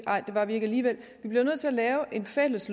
nej det var vi ikke alligevel vi bliver nødt til at lave en fælles